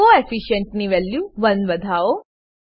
coefficient coefficient ની value 1 વધવો